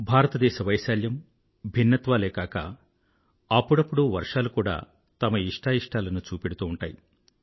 భారతదేశ వైశాల్యం భిన్నత్వాలే కాక అప్పుడప్పుడు వర్షాలు కూడా తమ ఇష్టాఇష్టాలను చూపెడుతూ ఉంటాయి